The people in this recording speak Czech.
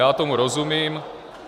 Já tomu rozumím.